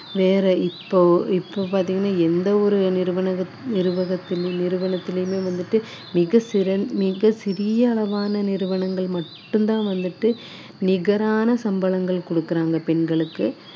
ஆஹ் வேற இப்போ இப்போ பாத்தீங்கன்னா எந்த ஒரு நிறுவனகத்~ நிறுவக~ நிறுவனத்திலுமே வந்துட்டு மிக சிற~ மிக சிறிய அளவான நிறுவனங்கள் மட்டும்தான் வந்துட்டு